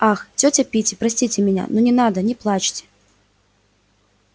ах тётя питти простите меня ну не надо не плачьте